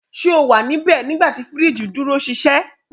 Ṣe o wa nibẹ nigbati firiji duro ṣiṣẹ?